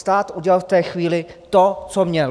Stát udělal v té chvíli to, co měl.